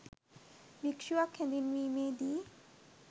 භික්‍ෂුවක් හැඳින්වීමේ දී